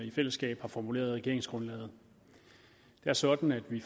i fællesskab har formuleret i regeringsgrundlaget det er sådan at vi